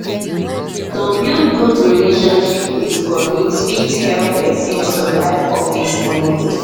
to build good relationship with colleagues fit help pesin survive office politics